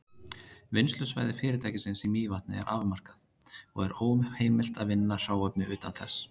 Vinnslusvæði fyrirtækisins í Mývatni er afmarkað, og er óheimilt að vinna hráefni utan þess.